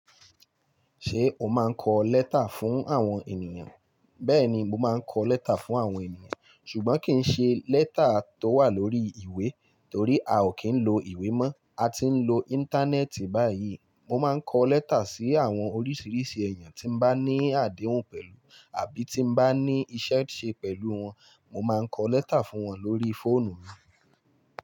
Ṣé o máa ń kọ lẹ́tà fún àwọn ènìyàn? Bẹ́ẹ̀ni, mo máa ń kọ lẹ́tà fún àwọn ènìyàn, ṣùgbọ́n kì í ṣe lẹ́tà tó wà lórí ìwé, torí a ò kí ń lo ìwé mọ́. A ti ń lo íńtánẹ́ẹ̀tì báyìí. Mo máa ń kọ lẹ́tà sí àwọn oríṣìíríṣìí èèyàn tí n bá ní àdéhùn pẹ̀lú àbí tí n bá ní iṣẹ́ ṣe pẹ̀lú wọn. Mo máa ń kọ lẹ́tà fún wọn lórí fóònù.